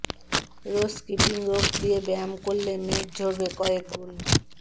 রোজ skipping rope দিয়ে ব্যায়াম করলে মেদ ঝরবে কয়েক গুণ